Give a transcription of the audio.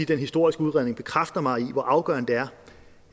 den historiske udredning bekræfter mig i hvor afgørende det er